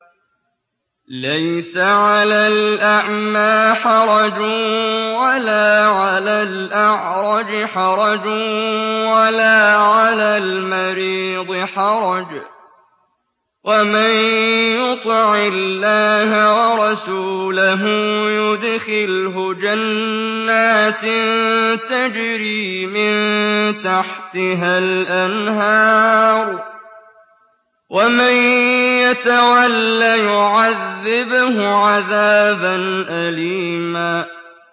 لَّيْسَ عَلَى الْأَعْمَىٰ حَرَجٌ وَلَا عَلَى الْأَعْرَجِ حَرَجٌ وَلَا عَلَى الْمَرِيضِ حَرَجٌ ۗ وَمَن يُطِعِ اللَّهَ وَرَسُولَهُ يُدْخِلْهُ جَنَّاتٍ تَجْرِي مِن تَحْتِهَا الْأَنْهَارُ ۖ وَمَن يَتَوَلَّ يُعَذِّبْهُ عَذَابًا أَلِيمًا